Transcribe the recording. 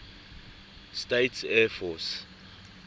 states air force